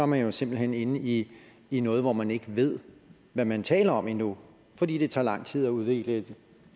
man jo simpelt hen inde i i noget hvor man ikke ved hvad man taler om endnu fordi det tager lang tid at udvikle et